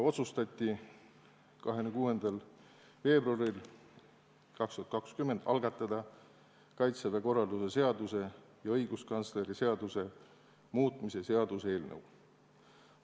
26. veebruaril 2020. aastal otsustati algatada Kaitseväe korralduse seaduse ja õiguskantsleri seaduse muutmise seaduse eelnõu.